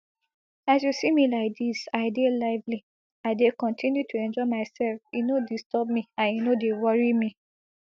as you see me like dis i dey lively i dey kotinu to enjoy myself e no disturb me and e no dey worry me